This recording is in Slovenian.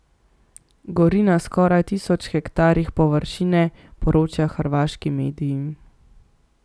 Gori na skoraj tisoč hektarjih površine, poročajo hrvaški mediji.